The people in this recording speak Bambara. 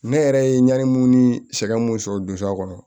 Ne yɛrɛ ye ɲani sɛgɛn mun sɔrɔ don a kɔnɔ